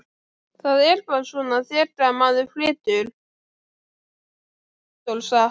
Það er bara svona þegar maður flytur, hafði Steindór sagt.